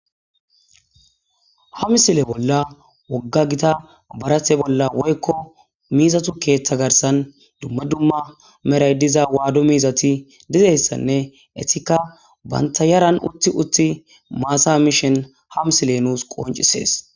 Ha misile bolla woga gita miiza barate bola dumma dumma Mary diza wado miizati dizaysane etika banta yaran utidi mata mishin ha misiliye nus qoncises